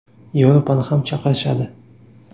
Yevropani ham chaqirishadi.